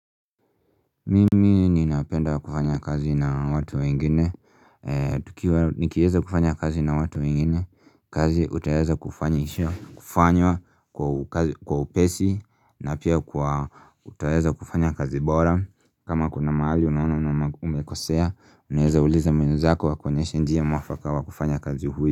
Mimi ninapenda kufanya kazi na watu wengine, nikiweza kufanya kazi na watu wengine, kazi itaweza kufanywa kwa upesi na pia kuwa utaweza kufanya kazi bora kama kuna mahali unaona umekosea, unaweza uliza mwenzako akuoenyeshe njia mwafaka wa kufanya kazi hii.